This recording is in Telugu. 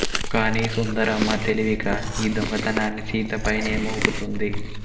కానీ సుందరమ్మ తెలివిగా ఈ దొంగతనాన్ని సీత పైనే మోపుతుంది